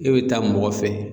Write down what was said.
E bɛ taa mɔgɔ fɛ.